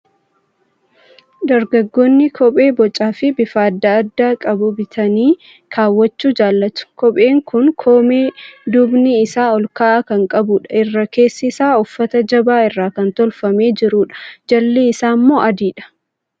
Dargaggoonni kophee bocaa fi bifa adda addaa qabu bitanii kaawwachuu jaalatu. Kopheen kun koomee duubni isaa ol ka'aa kan qabudha. Irri keessisaa uffata jabaa irraa kan tolfamee jirudha. Jalli isaammoo adiidha.